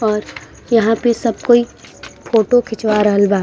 और यहाँ पे सब कोई फोटो खिचवा रहल बा।